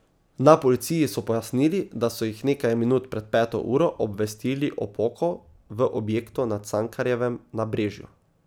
Na policiji so pojasnili, da so jih nekaj minut pred peto uro obvestili o poku v objektu na Cankarjevem nabrežju.